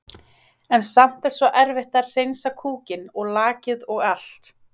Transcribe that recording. En samt er svo erfitt að hreinsa kúkinn og lakið og allt.